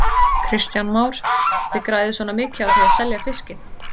Kristján Már: Þið græðið svona mikið á því að selja fiskinn?